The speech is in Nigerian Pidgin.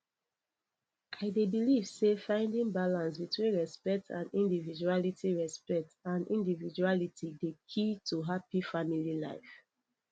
i dey believe say finding balance between respect and individuality respect and individuality dey key to happy family life